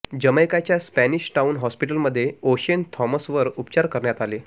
जमैकाच्या Spanish Town हॉस्पिटलमध्ये Oshane थॉमसवर उपचार करण्यात आले